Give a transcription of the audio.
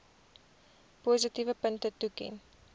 positiewe punte toeken